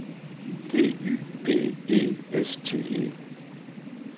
D Y B E S T E